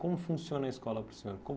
Como funciona a escola para o senhor?